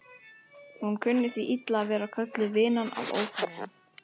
Hún kunni því illa að vera kölluð vinan af ókunnugum.